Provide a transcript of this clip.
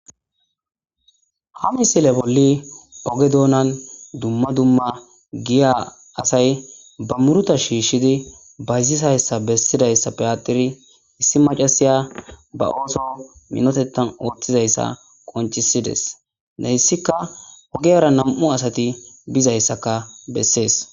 ha misile bolli oge doonan dumma dumma giya asay ba muruta shiishshidi bayzisayssa bessidayssa piyatiri issi macasiya ba ooso minotetan ooththizayssa qoncisides neyssikka ogiyara nam'u asati bizayssaka bessees